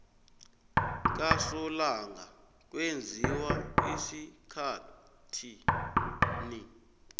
kasolanga kwenziwa esikhathini